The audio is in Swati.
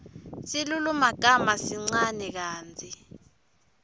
silulumagama sincane kantsi